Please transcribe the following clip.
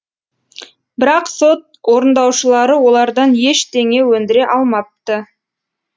бірақ сот орындаушылары олардан ештеңе өндіре алмапты